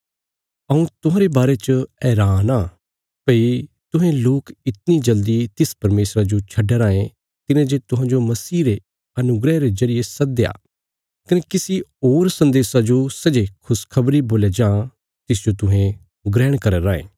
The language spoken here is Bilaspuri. हऊँ तुहांरे बारे च हैरान आ भई तुहें लोक इतणी जल्दी तिस परमेशरा जो छड्डया राँये तिने जे तुहांजो मसीह रे अनुग्रह रे जरिये सद्दया कने किसी होर सन्देशा जो सै जे खुशखबरी बोल्या जां तिसजो तुहें ग्रहण करया राँये